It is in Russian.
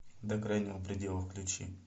до крайнего предела включи